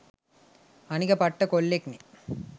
අනික පට්ට කොල්ලෙක්නේ